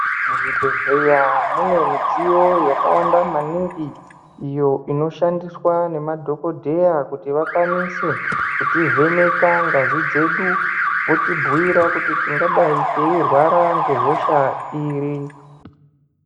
Muzvibhedhlera mune mudziyo yakawanda maningi iyo inoshandiswa ngemadhokodheya kuti vakwanise kutivheneka ngazi dzedu votibhuyira kuti tindadai teyirwara ngehosha iri.